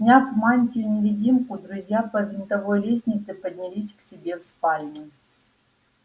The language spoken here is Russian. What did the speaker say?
сняв мантию-невидимку друзья по винтовой лестнице поднялись к себе в спальню